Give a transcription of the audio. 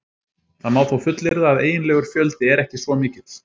Það má þó fullyrða að eiginlegur fjöldi er ekki svo mikill.